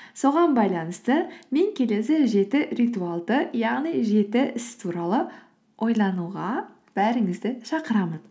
соған байланысты мен келесі жеті ритуалды яғни жеті іс туралы ойлануға бәріңізді шақырамын